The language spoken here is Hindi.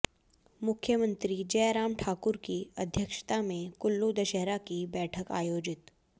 मुख्यमंत्री जय राम ठाकुर की अध्यक्षता में कुल्लू दशहरा की बैठक आयोजित